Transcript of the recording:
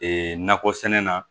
Ee nakɔ sɛnɛ na